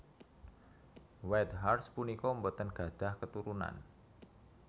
Whitehurst punika boten gadhah keturunan